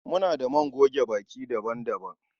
Muna da man goge baki daban-daban